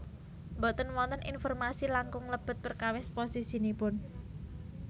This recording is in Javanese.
Boten wonten informasi langkung lebet perkawis posisinipun